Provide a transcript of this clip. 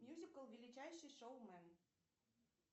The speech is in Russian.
мьюзикл величайший шоумен